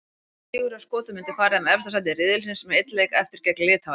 Sigur hjá Skotum myndi færa þeim efsta sæti riðilsins með einn leik eftir, gegn Litháen.